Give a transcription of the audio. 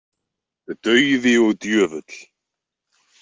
Dauði og djöfull.